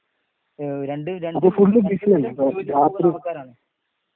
രണ്ടും രണ്ട്